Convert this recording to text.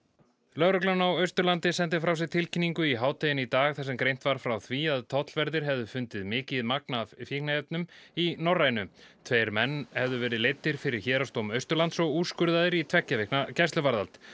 lögreglan á Austurlandi sendi frá sér tilkynningu í hádeginu í dag þar sem greint var frá því að tollverðir hefðu fundið mikið af fíkniefnum í Norrænu tveir menn hefðu verið leiddir fyrir Héraðsdóm Austurlands og úrskurðaðir í tveggja vikna gæsluvarðhald